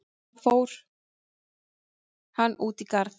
Hann: Fór hann út í garð?